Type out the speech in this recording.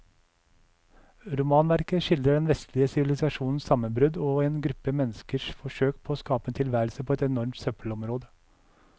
Romanverket skildrer den vestlige sivilisasjons sammenbrudd og en gruppe menneskers forsøk på å skape en tilværelse på et enormt søppelområde.